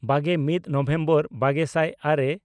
ᱵᱟᱜᱮᱼᱢᱤᱫ November ᱵᱟᱜᱮ ᱥᱟᱭ ᱟᱨᱮ